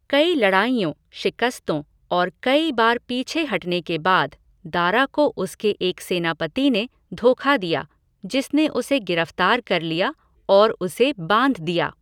कई लड़ाइयों, शिकस्तों और कई बार पीछे हटने के बाद, दारा को उसके एक सेनापति ने धोखा दिया, जिसने उसे गिरफ्तार कर लिया और उसे बांध दिया।